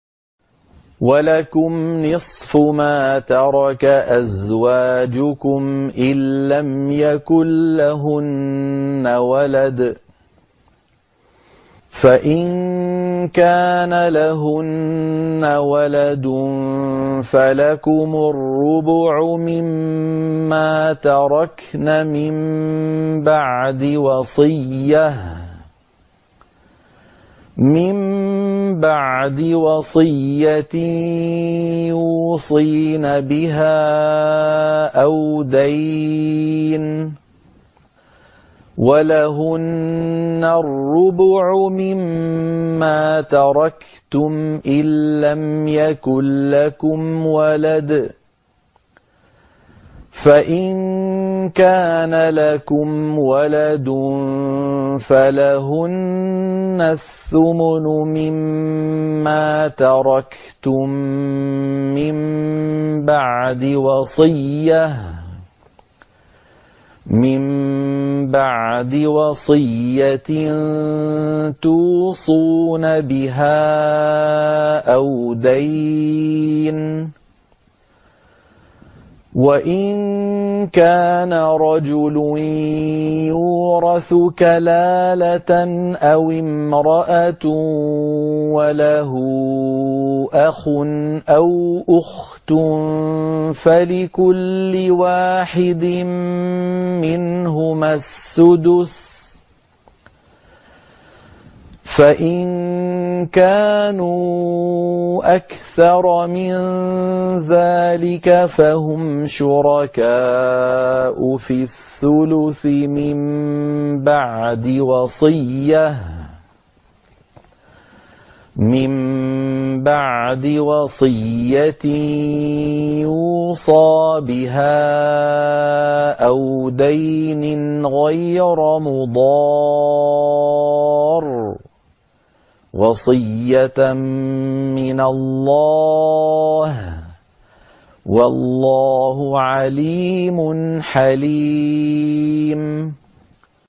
۞ وَلَكُمْ نِصْفُ مَا تَرَكَ أَزْوَاجُكُمْ إِن لَّمْ يَكُن لَّهُنَّ وَلَدٌ ۚ فَإِن كَانَ لَهُنَّ وَلَدٌ فَلَكُمُ الرُّبُعُ مِمَّا تَرَكْنَ ۚ مِن بَعْدِ وَصِيَّةٍ يُوصِينَ بِهَا أَوْ دَيْنٍ ۚ وَلَهُنَّ الرُّبُعُ مِمَّا تَرَكْتُمْ إِن لَّمْ يَكُن لَّكُمْ وَلَدٌ ۚ فَإِن كَانَ لَكُمْ وَلَدٌ فَلَهُنَّ الثُّمُنُ مِمَّا تَرَكْتُم ۚ مِّن بَعْدِ وَصِيَّةٍ تُوصُونَ بِهَا أَوْ دَيْنٍ ۗ وَإِن كَانَ رَجُلٌ يُورَثُ كَلَالَةً أَوِ امْرَأَةٌ وَلَهُ أَخٌ أَوْ أُخْتٌ فَلِكُلِّ وَاحِدٍ مِّنْهُمَا السُّدُسُ ۚ فَإِن كَانُوا أَكْثَرَ مِن ذَٰلِكَ فَهُمْ شُرَكَاءُ فِي الثُّلُثِ ۚ مِن بَعْدِ وَصِيَّةٍ يُوصَىٰ بِهَا أَوْ دَيْنٍ غَيْرَ مُضَارٍّ ۚ وَصِيَّةً مِّنَ اللَّهِ ۗ وَاللَّهُ عَلِيمٌ حَلِيمٌ